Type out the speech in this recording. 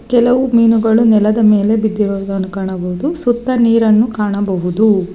ಕೆಲವು ಮೀನುಗಳು ನೆಲದ ಮೇಲೆ ಬಿದ್ದಿರುವುದನ್ನು ಕಾಣಬಹುದು ಸುತ್ತ ನೀರನ್ನ ಕಾಣಬಹುದು.